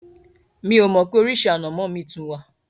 Mi ò mọ̀ pé oríṣi ànàmọ́ mi tún wà.